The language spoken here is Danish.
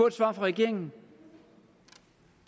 et svar fra regeringen